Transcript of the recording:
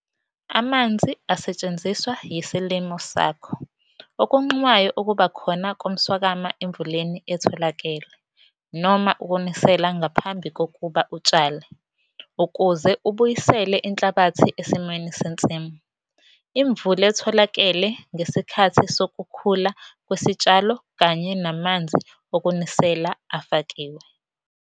Amanzi asetshenziswa yisilimo sakho okunqumayo ukuba khona komswakama emvuleni etholakele noma ukunisela ngaphambi kokuba utshale ukuze ubuyisele inhlabathi esimweni sensimu, imvule etholakele ngesikhathi sokukhula kwesitshalo kanye namanzi okunisela afakiwe.